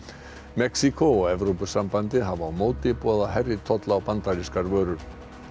Mexíkó og Evrópusambandið hafa á móti boðað hærri tolla á bandarískar vörur